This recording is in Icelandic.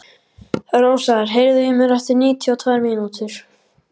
Rósar, heyrðu í mér eftir níutíu og tvær mínútur.